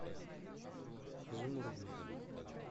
изумрудный